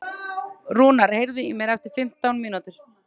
Rúnar, heyrðu í mér eftir fimmtán mínútur.